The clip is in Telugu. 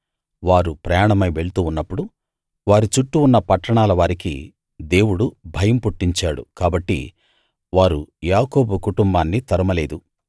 వారు ప్రయాణమై వెళ్తూ ఉన్నప్పుడు వారి చుట్టూ ఉన్న పట్టణాల వారికి దేవుడు భయం పుట్టించాడు కాబట్టి వారు యాకోబు కుటుంబాన్ని తరమ లేదు